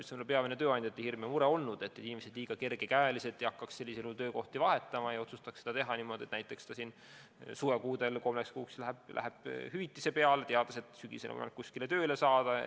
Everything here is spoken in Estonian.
See on ka peamine tööandjate hirm ja mure olnud, et inimesed liiga kerge käega ei hakkaks sellisel juhul töökohti vahetama ega otsustaks teha niimoodi, et näiteks suvekuudel läheb kolmeks kuuks hüvitise peale, teades, et sügisel on võimalik kuskile tööle saada.